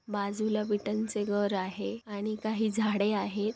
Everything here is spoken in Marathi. बाजूला विटांचे घर आहे आणि काही झाडे आहे.